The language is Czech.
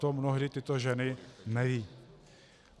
To mnohdy tyto ženy nevědí.